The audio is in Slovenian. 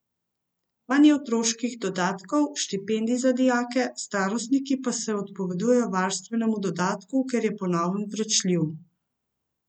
Manj je otroških dodatkov, štipendij za dijake, starostniki pa se odpovedujejo varstvenemu dodatku, ker je po novem vračljiv.